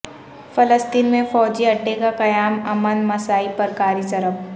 فلسطین میں فوجی اڈے کا قیام امن مساعی پر کاری ضرب